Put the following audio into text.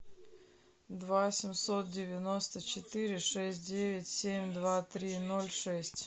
два семьсот девяносто четыре шесть девять семь два три ноль шесть